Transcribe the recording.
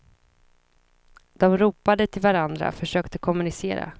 De ropade till varandra, försökte kommunicera.